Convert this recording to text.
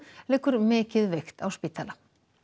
liggur mikið veikt á spítala